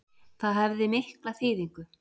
Það hefði mikla þýðingu